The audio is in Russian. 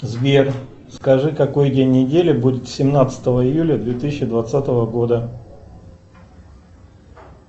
сбер скажи какой день недели будет семнадцатого июля две тысячи двадцатого года